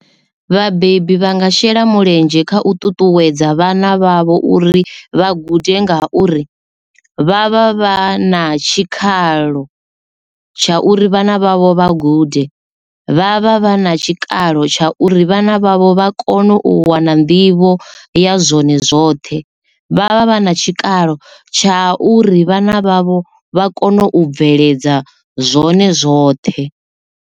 Vhabebi vha nga shela mulenzhe kha u ṱuṱuwedza vhana vhavho uri vha gude nga uri vha vha vha na tshikhalo tsha uri vhana vhavho vha gude vha vha vha na tshikalo tsha uri vhana vhavho vha kone u wana nḓivho ya zwone zwoṱhe vha vha vha na tshikalo tsha uri vhana vhavho vha kone u bveledza zwone zwoṱhe.